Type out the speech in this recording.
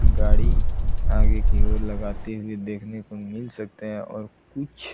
गाड़ी आगे की ओर लगाते हुए देखने को मिल सकता है और कुछ --